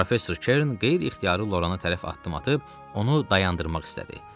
Professor Kern qeyri-ixtiyari Loranı tərəf addım atıb onu dayandırmaq istədi.